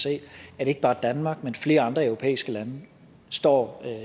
se at ikke bare danmark men flere andre europæiske lande står